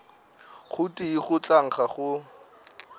gotee go tla nkga go